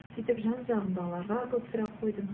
сөйтіп жан жағымдағыларға көп сұрақ қойдым